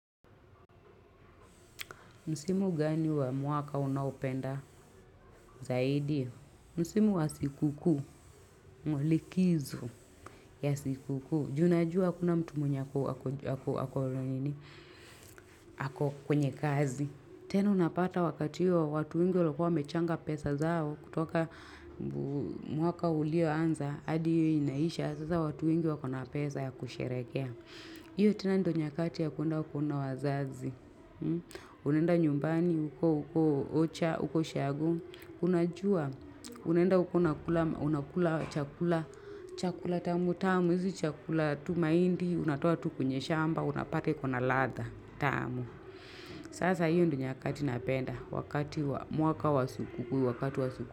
Msimu gani wa mwaka unaopenda zaidi? Msimu wa sikukuu, likizo ya sikukuu. Ju unajua hakuna mtu mwenye ako ako ako kwenye kazi. Tena unapata wakati huo watu wengi walikua wamechanga pesa zao. Kutoka mwaka ulio anza, hadi hiyo inaisha. Sasa watu wengi wako na pesa ya kusherekea. Iyo tena ndo nyakati ya kuenda kuona wazazi. Unaenda nyumbani, huko huko ocha, huko ushago. Unajua, unenda uko unakula unakula chakula, Chakula tamu tamu, hizi chakula tu mahindi unatoa tu kwenye shamba, unapata iko na ladha tamu. Sasa hiyo ndo nyakati napenda wakati wa mwaka wa sikukuu, wakati wa sikukuu.